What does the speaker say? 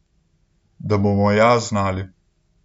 Da bomo ja znali.